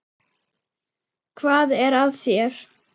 Hvað er að þér?